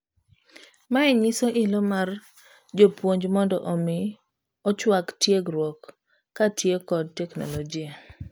Mae nyiso ilo mar japuonj mondo omi ochuak tiegruok kotiyo kod teknologia.